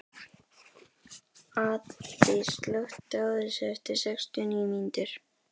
Addý, slökktu á þessu eftir sextíu og níu mínútur.